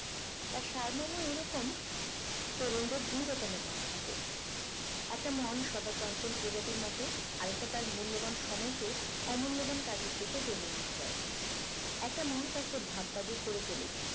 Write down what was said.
তার সারমর্ম এরকম তরুণদের দুই রকম মন থাকে একটা মন সদা চঞ্চল প্রজাতির মত আর একটা তার মূল্যবান সময়কে অমূল্যবান কাজের দিকে টেনে নিয়ে যায় একটা মন তাকে ভাববাদী করে তোলে